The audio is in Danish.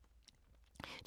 DR2